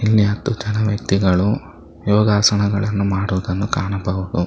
ಇಲ್ಲಿ ಹತ್ತು ಜನ ವ್ಯಕ್ತಿಗಳು ಯೋಗಾಸನಗಳನ್ನು ಮಾಡುವುದನ್ನು ಕಾಣಬಹುದು.